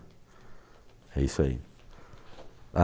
É isso aí.